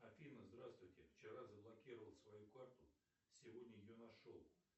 афина здравствуйте вчера заблокировал свою карту сегодня ее нашел